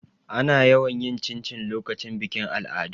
Ana yawan yin cincin lokacin bikin al'adu.